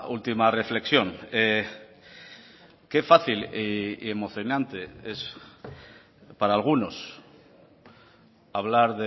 última reflexión qué fácil y emocionante es para algunos hablar